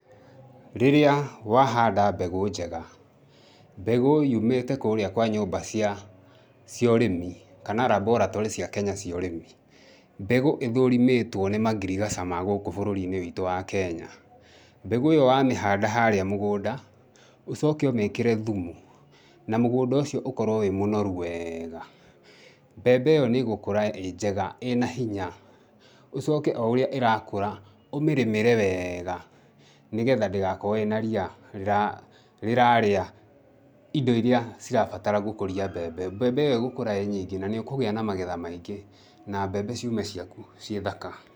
Rĩrĩa wahanda mbegũ njega, mbegũ yumĩte kũũria kwa nyũmba cia ũrĩmi kana laboratory cia Kenya cia ũrĩmi, mbegũ ĩthũrimĩtwo nĩ mangirigaca ma gũku bũrũri-inĩ witũ wa Kenya, mbegũ ĩyo wamĩhanda harĩa mũgũnda, ũcoke ũmĩkĩre thumu, na mũgũnda ũcio ũkorwo wĩ mũnoru wega, mbembe ĩyo nĩgũkũra ĩ njega ĩna hinya ũcoke o ũrĩa ĩrakũra ũmĩrĩmĩre wega nĩgetha ndĩgakorwo ĩ na ria rĩrarĩa indo iria cirabatara gũkũria mbembe, mbembe ĩyo ĩgũkũra ĩ nyingĩ na nĩ ũkũgĩa na magetha maingĩ na mbembe ciume ciaku ciĩ thaka.